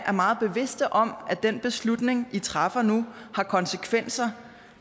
er meget bevidste om at den beslutning i træffer nu har konsekvenser